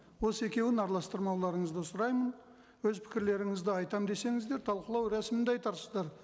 осы екеуін араластырмаулырыңзды сұраймын өз пікірлеріңізді айтамын десеңіздер талқылау рәсімінде айтарсыздар